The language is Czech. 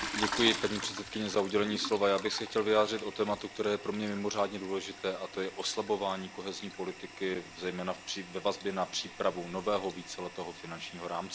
Paní předsedající, já bych se chtěl vyjádřit k tématu, které je pro mě mimořádně důležité, a to je oslabování kohezní politiky zejména ve vazbě na přípravu nového víceletého finančního rámce.